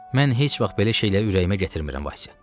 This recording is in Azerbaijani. Mən heç vaxt belə şeyləri ürəyimə gətirmirəm Valsya.